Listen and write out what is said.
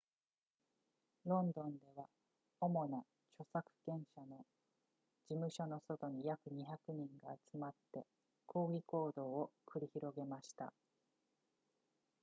ロンドンでは主な著作権者の事務所の外に約200人が集まって抗議行動を繰り広げました